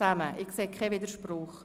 – Ich sehe keinen Widerspruch.